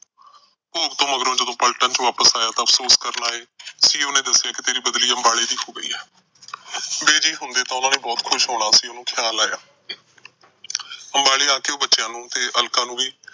ਭੋਗ ਮਗਰੋਂ ਜਦੋਂ ਪਲਟਨ ਚ ਵਾਪਸ ਆਇਆ ਤਾਂ ਅਫਸੋਸ ਕਰਨ ਆਏ CEO ਨੇ ਦੱਸਿਆ ਕਿ ਤੇਰੀ ਬਦਲੀ ਅੰਬਾਲੇ ਦੀ ਹੋ ਗਈ ਆ। ਬਿਜੀ ਹੁੰਦੇ ਤਾਂ ਉਹਨਾਂ ਨੇ ਬਹੁਤ ਖੁਸ਼ ਹੋਣਾ ਸੀ, ਉਹਨੂੰ ਖਿਆਲ ਆਇਆ। ਅੰਬਾਲੇ ਆ ਕੇ ਉਹ ਬੱਚਿਆਂ ਨੂੰ ਤੇ ਅਲਕਾ ਨੂੰ ਵੀ